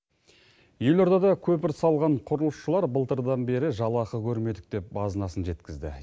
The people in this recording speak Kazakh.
елордада көпір салған құрылысшылар былтырдан бері жалақы көрмедік деп базынасын жеткізді